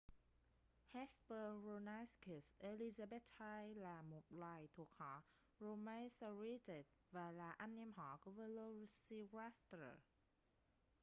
hesperonychus elizabethae là một loài thuộc họ dromaeosauridae và là anh em họ của velociraptor